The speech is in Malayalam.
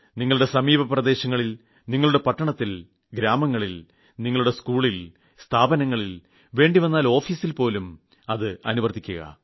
നിങ്ങളുടെ സമീപ പ്രദേശങ്ങളിൽ നിങ്ങളുടെ പട്ടണത്തിൽ ഗ്രാമങ്ങളിൽ നിങ്ങളുടെ സ്കൂളിൽ സ്ഥാപനങ്ങളിൽ വേണ്ടിവന്നാൽ ഓഫീസിൽ പോലും അത് അനുവർത്തിക്കുക